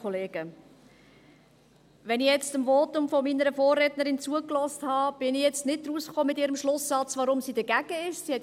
Als ich dem Votum meiner Vorrednerin zugehört habe, habe ich ihren Schlusssatz, weshalb sie dagegen ist, nicht ganz verstanden.